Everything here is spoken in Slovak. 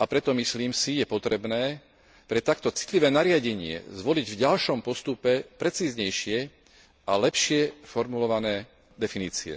a preto, myslím si, je potrebné pre takto citlivé nariadenie zvoliť v ďalšom postupe precíznejšie a lepšie formulované definície.